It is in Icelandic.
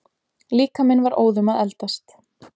Líkaminn var óðum að eldast.